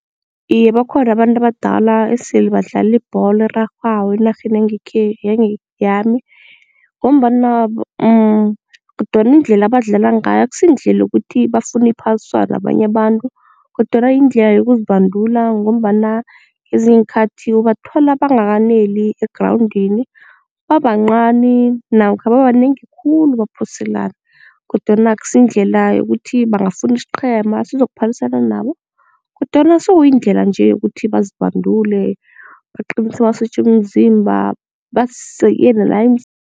Iye, bakhona abantu abadala esele badlala ibholo erarhwako enarheni yami ngombana kodwana indlela abadlala ngayo akusiyindlela yokuthi bafuna iphaliswano nabanye abantu kodwana yindlela yokuzibandula ngombana ezinye iinkhathi ubathola bangakaneli egrawundini, babancani namkha babanengi khulu baphoselana kodwana akusiyindlela yokuthi bangafuna isiqhema sizokuphalisana nabo kodwana sokuyindlela nje yokuthi bazibandule baqinise amasotja womzimba bazi